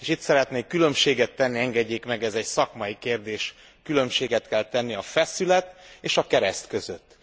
És itt szeretnék különbséget tenni engedjék meg, ez egy szakmai kérdés különbséget kell tenni a feszület és a kereszt között.